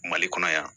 Mali kɔnɔ yan